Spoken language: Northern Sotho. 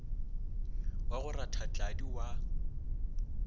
wa go ratha tladi wa